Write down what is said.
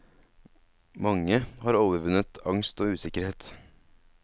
Mange har overvunnet angst og usikkerhet.